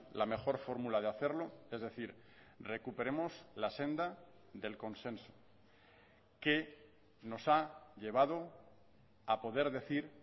la mejor fórmula de hacerlo es decir recuperemos la senda del consenso que nos ha llevado a poder decir